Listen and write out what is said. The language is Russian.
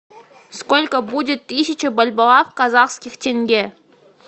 сколько будет тысяча бальбоа в казахских тенге